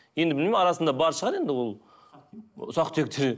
енді білмеймін арасында бар шығар енді ол ұсақ түйектер